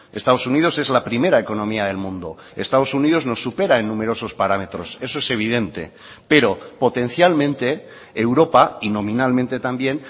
estados unidos es la primera economía del mundo estados unidos nos supera en numerosos parámetros eso es evidente pero potencialmente europa y nominalmente también